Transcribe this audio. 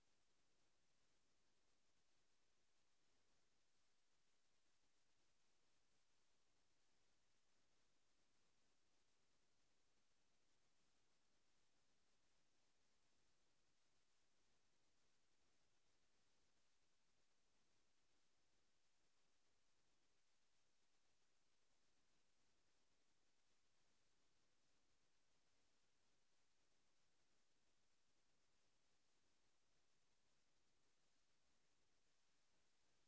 Empty audio file.